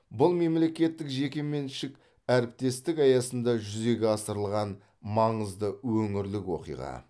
бұл мемлекеттік жекеменшік әріптестік аясында жүзеге асырылған маңызды өңірлік оқиға